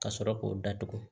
Ka sɔrɔ k'o datugu